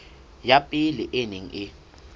ya pele e neng e